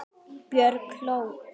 Björg hló.